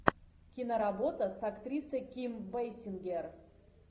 киноработа с актрисой ким бейсингер